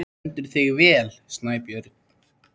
Þú stendur þig vel, Snæbjörn!